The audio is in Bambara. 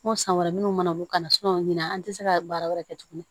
N ko san wɛrɛ minnu mana bɔ ka na o min an tɛ se ka baara wɛrɛ kɛ tuguni